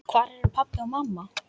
Hvar eru pabbi og mamma?